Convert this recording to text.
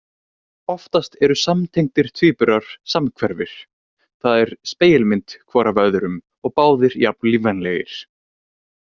Oftast eru samtengdir tvíburar samhverfir, það er spegilmynd hvor af öðrum og báðir jafn lífvænlegir.